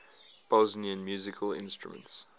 bosnian musical instruments